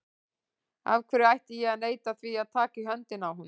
Af hverju ætti ég að neita því að taka í höndina á honum?